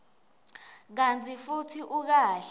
kantsi futsi ukahle